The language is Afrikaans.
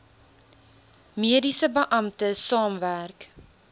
mediese beampte saamwerk